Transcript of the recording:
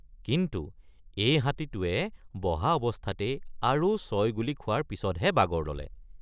কিন্তু এই হাতীটোৱে বহা অৱস্থাতেই আৰু ছয় গুলী খোৱাৰ পিচতহে বাগৰ ললে।